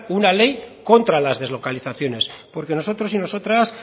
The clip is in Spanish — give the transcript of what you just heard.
una ley contra las deslocalizaciones porque nosotros y nosotras